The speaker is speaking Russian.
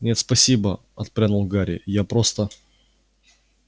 нет спасибо отпрянул гарри я просто